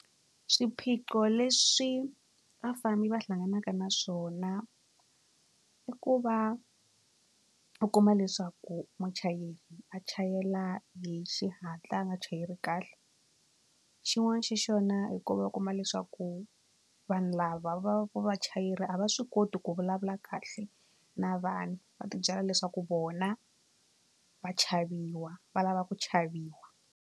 Swiphiqo leswi vafambi va hlanganaka na swona i ku va u kuma leswaku muchayeri a chayela hi xihatla a nga chayeli kahle xin'wani xa xona h i ku va va kuma leswaku vanhu lava va va ku vachayela a va swi koti ku vulavula kahle na vanhu va tibyela leswaku vona va chaviwa va lava ku chaviwa.